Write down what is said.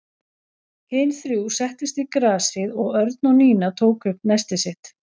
Hin þrjú settust í grasið og Örn og Nína tóku upp nestið sitt.